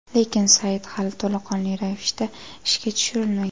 Lekin sayt hali to‘laqonli ravishda ishga tushirilmagan.